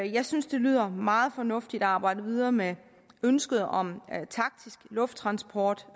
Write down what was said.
jeg synes det lyder meget fornuftigt at arbejde videre med ønsket om taktisk lufttransport